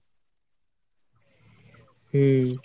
হম।